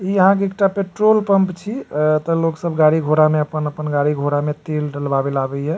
इ यहाँ एकटा पेट्रोल पंप छै अ त लोग सब गाड़ी-घोड़ा में आपन-आपन गाड़ी-घोड़ा में तेल डलवावेला आवे हिय।